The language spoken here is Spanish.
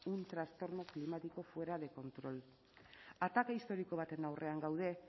un trastorno climático fuera de control ataka historiko baten aurrean gaude